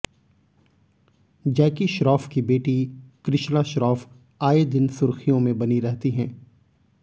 जैकी श्रॉफ की बेटी कृष्णा श्रॉफ आए दिन सुर्खियों में बनी रहती हैं